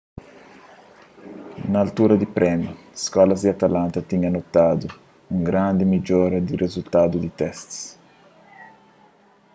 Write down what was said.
na altura di prémiu skólas di atlanta tinha notadu un grandi midjora na rizultadu di testis